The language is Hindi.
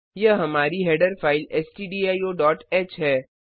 यह हमारी हेडर फाइल stdioह है